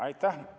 Aitäh!